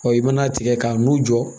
i mana tigɛ k'a n'u jɔ